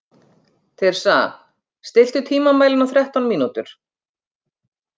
Tirsa, stilltu tímamælinn á þrettán mínútur.